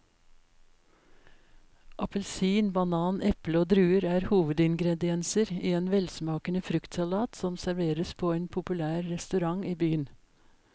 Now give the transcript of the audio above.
Appelsin, banan, eple og druer er hovedingredienser i en velsmakende fruktsalat som serveres på en populær restaurant i byen.